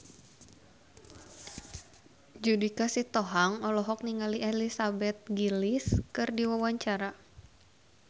Judika Sitohang olohok ningali Elizabeth Gillies keur diwawancara